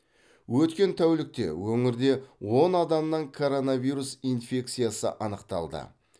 өткен тәулікте өңірде он адамнан коронавирус инфекциясы анықталды